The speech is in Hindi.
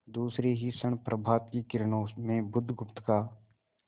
दूसरे ही क्षण प्रभात की किरणों में बुधगुप्त का